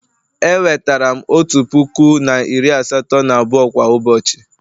E wetara m otu puku na iri asatọ na abụọ kwa ụbọchị